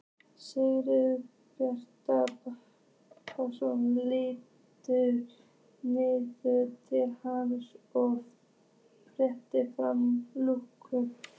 Sigurbjartur Pálsson lítur niður til hans og réttir fram lúku.